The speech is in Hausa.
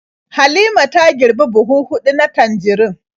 Halima ta girbi buhu huɗu na tanjarin.